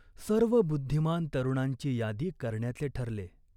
सर्व बुद्धिमान तरुणांची यादी करण्याचे ठरले.